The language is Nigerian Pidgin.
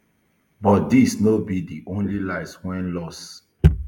but dis no be di only lives um lost